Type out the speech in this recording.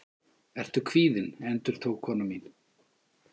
Ertu kvíðinn? endurtók kona mín.